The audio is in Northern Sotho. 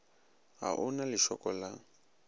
ga o na lešoko la